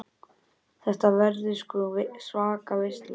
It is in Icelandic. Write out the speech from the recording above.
Þetta verður sko svaka veisla.